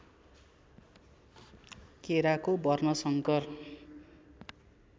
केराको वर्णशंकर